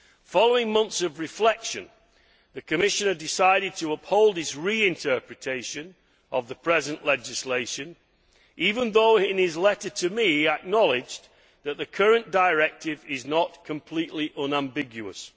Following months of reflection, the Commissioner decided to uphold his reinterpretation of the present legislation, even though in his letter to me he acknowledged that the current directive is not completely unambiguous.